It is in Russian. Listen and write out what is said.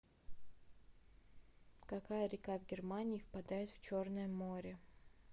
какая река в германии впадает в черное море